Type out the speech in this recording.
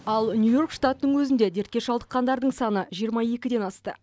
ал нью йорк штатының өзінде дертке шалдыққандардың саны жиырма екіден асты